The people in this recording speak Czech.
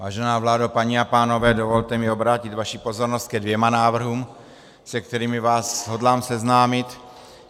Vážená vládo, paní a pánové, dovolte mi obrátit vaši pozornost ke dvěma návrhům, se kterými vás hodlám seznámit.